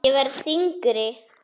Ég verð þyngri.